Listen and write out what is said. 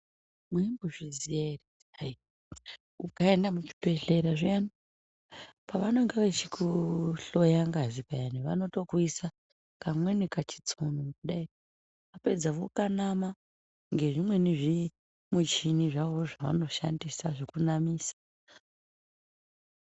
Mwaimbozviziva ere kuti ukaenda kuzvibhehlera zviya pavenenge vachikuhlora ngazi vanotokuisa kamweni kachitsono .Kana vapedza vokanama ngezvimwezvimuchini zvavanoshandisa zvekunamisa.